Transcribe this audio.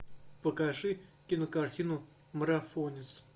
покажи кинокартину марафонец